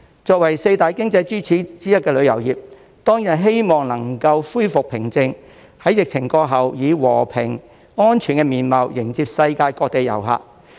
作為四大經濟支柱之一的旅遊業，當然希望香港能夠恢復平靜，在疫情過後，以和平、安全的面貌迎接世界各地的遊客。